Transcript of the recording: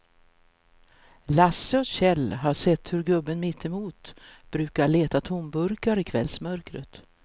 Lasse och Kjell har sett hur gubben mittemot brukar leta tomburkar i kvällsmörkret.